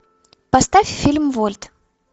поставь фильм вольт